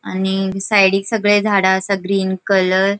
आनी साइडिक सगळे झाड़ा आसा ग्रीन कलर .